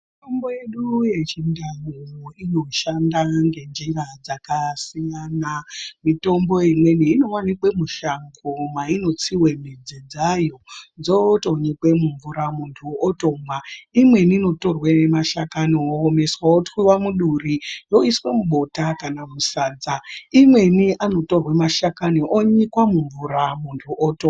Mitombo yedu yechindau inoshanda ngenjira dzakasiyana mitombo imweni inovanikwa mushango mainotsive midzi dzayo dzotonyikwe mumvura muntu otomwa. Imweni inotorwa mashakani ototwiva otwiva mudhuri yoiswe mubota kana sadza. Imweni anotorwa mashakani onyikwa mumvura muntu otomwa.